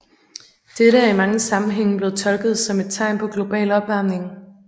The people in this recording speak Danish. Dette er i mange sammenhænge blevet tolket som et tegn på global opvarmning